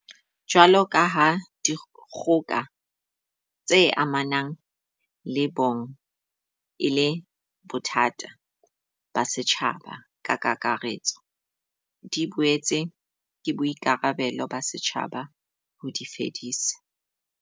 Jwalokaha dikgoka tse amanang le bong e le bothata ba setjhaba ka kakaretso, di boetse ke boikarabelo ba setjhaba ho di fedisa.